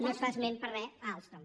no es fa esment per a res d’alstom